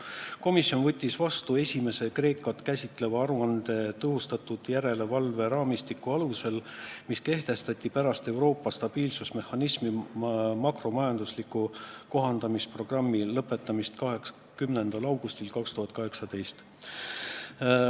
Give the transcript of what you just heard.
"Komisjon võttis vastu esimese Kreekat käsitleva aruande tõhustatud järelevalveraamistiku alusel, mis kehtestati pärast Euroopa stabiilsusmehhanismi makromajandusliku kohandamisprogrammi lõpetamist 20. augustil 2018.